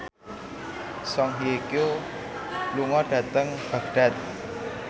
Song Hye Kyo lunga dhateng Baghdad